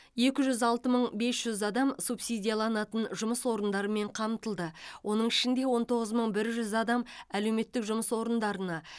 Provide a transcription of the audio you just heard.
екі жүз алты мың бес жүз адам субсидияланатын жұмыс орындарымен қамтылды оның ішінде он тоғыз мың бір жүз адам әлеуметтік жұмыс орындарына